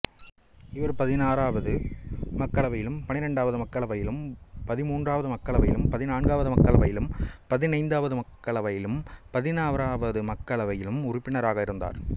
இவர் பதினோராவது மக்களவையிலும் பன்னிரண்டாவது மக்களவையிலும் பதின்மூன்றாவது மக்களவையிலும் பதினான்காவது மக்களவையிலும் பதினைந்தாவது மக்களவையிலும் பதினாறாவது மக்களவையிலும் உறுப்பினராக இருந்தார்